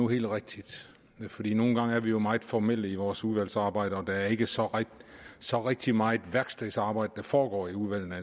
helt rigtigt fordi nogle gange er vi jo meget formelle i vores udvalgsarbejde og det er ikke så så rigtig meget værkstedsarbejde der foregår i udvalgene